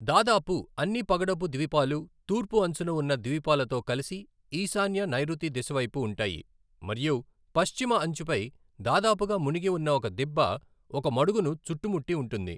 దాదాపు అన్ని పగడపు ద్వీపాలు తూర్పు అంచున ఉన్న ద్వీపాలతో కలిసి ఈశాన్య నైరుతి దిశవైపు ఉంటాయి మరియు పశ్చిమ అంచుపై దాదాపుగా మునిగి ఉన్న ఒక దిబ్బ ఒక మడుగును చుట్టుముట్టి ఉంటుంది.